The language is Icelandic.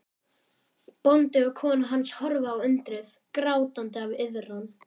Bóndi og kona hans horfa á undrið, grátandi af iðran.